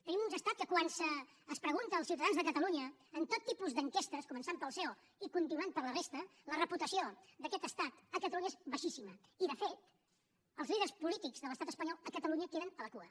tenim un estat que quan es pregunta als ciutadans de catalunya en tot tipus d’enquestes començant pel ceo i continuant per la resta la reputació d’aquest estat a catalunya és baixíssima i de fet els líders polítics de l’estat espanyol a catalunya queden a la cua